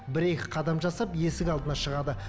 бір екі қадам жасап есік алдына шығады